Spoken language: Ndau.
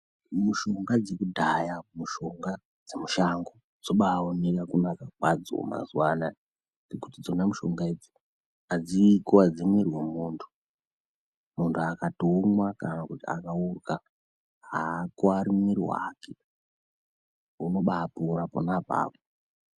Mishonga dzekudhaya mishonga dzemushango dzinombaioneka kunaka kwadzo mazuva anaya ngokuti dzona mishonga idzi hadzikwa dzi muwiri womundu mundu akatowoma kana kuti akaguka haakwari muwiri wake unobai pora pona ipapo.